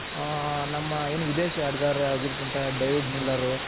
ಹಾ ನಮ್ಮ ಏನು ವಿದೇಶಿ ಆಟಗಾರ ಆಗಿರುವಂತಹ ಡೇವಿಡ್ ಮಿಲ್ಲರ್